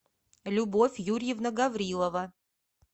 любовь юрьевна гаврилова